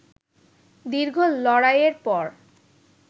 দীর্ঘ লড়াইয়ের পর